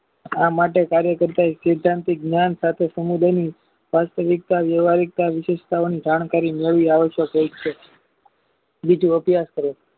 આ માટે કાર્ય કરતા સિંદ્ધાંતિક જ્ઞાન સાથે સમુદાયી વાસ્તવિકતા લેવાયીકતા વિશેષતાનું ધ્યાન કરીને મળી આવે છે વિદ્યુ અભ્યાસ કરે છે